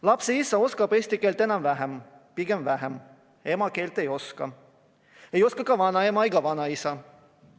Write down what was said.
Lapse isa oskab eesti keelt enam-vähem, pigem vähem, ema keelt ei oska, ei oska ka vanaema ega vanaisa.